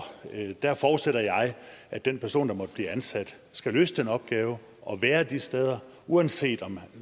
der forudsætter jeg at den person der måtte blive ansat skal løse den opgave og være de steder uanset om